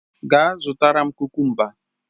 Gaa zụtara m kukumba!